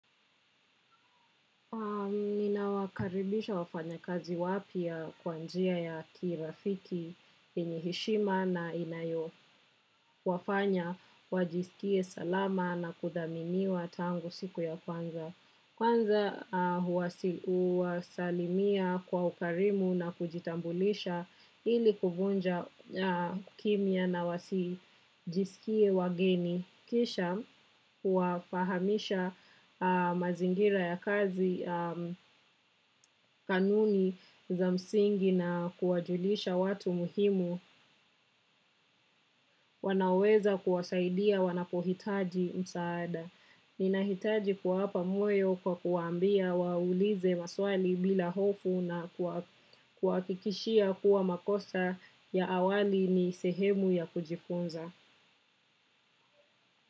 Ninawakaribisha wafanyakazi wapya kwa njia ya kirafiki yenye heshima na inayowafanya wajisikie salama na kuthaminiwa tangu siku ya kwanza. Kwanza huwasalimia kwa ukarimu na kujitambulisha ili kuvunja kimya na wasijisikie wageni. Kisha huwafahamisha mazingira ya kazi kanuni za msingi na kuwajulisha watu muhimu wanaoweza kuwasaidia wanapohitaji msaada. Ninahitaji kuwapa moyo kwa kuwaambia waulize maswali bila hofu na kuwa kuwahakikishia kuwa makosa ya awali ni sehemu ya kujifunza.